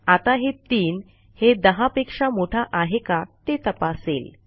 आता हे 3 हे 10 पेक्षा मोठा आहे का ते तपासेल